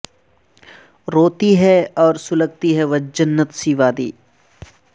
روتی ہے اور سلگتی ہے وہ جنت سی وادی